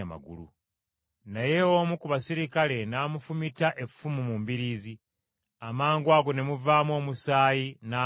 Naye omu ku baserikale n’amufumita effumu mu mbiriizi, amangwago ne muvaamu omusaayi n’amazzi.